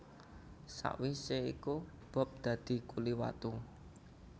Sawisé iku Bob dadi kuli watu